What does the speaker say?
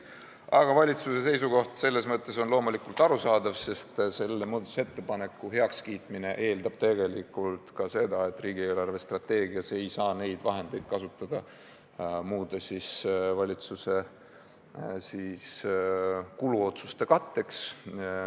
Aga valitsuse seisukoht on loomulikult arusaadav, sest selle muudatusettepaneku heakskiitmine eeldab tegelikult ka seda, et riigi eelarvestrateegias ei saa neid vahendeid kasutada muude valitsuse kuluotsuste katteks.